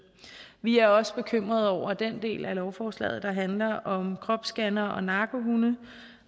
vi er også bekymrede over den del af lovforslaget der handler om kropsscannere og narkohunde